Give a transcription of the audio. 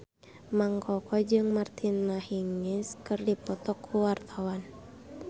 Mang Koko jeung Martina Hingis keur dipoto ku wartawan